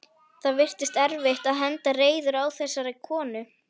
Það virtist erfitt að henda reiður á þessari konu.